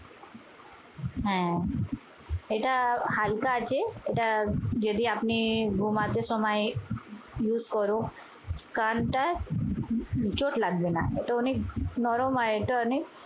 হ্যাঁ এটা হালকা আছে। এটা যদি আপনি ঘুমাতে সময় use করুন কানটা চোট লাগবে না। এটা অনেক নরম আর এটা অনেক